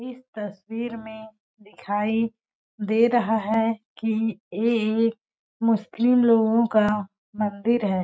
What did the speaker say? इस तस्वीर में दिखाई दे रहा है कि ये एक मुस्लिम लोगों का मंदिर हैं।